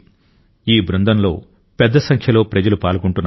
ఈ బృందంలో పెద్ద సంఖ్యలో ప్రజలు పాల్గొంటున్నారు